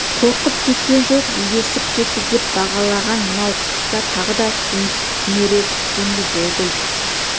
қорқып кеткен жоқ егесіп кетті деп бағалаған мынау тұста тағы да суынып түнере түскендей болды үй